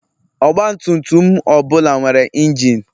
Ọgbatumtum ọbụla nwere injin.